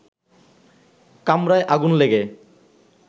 কামরায় আগুন লেগে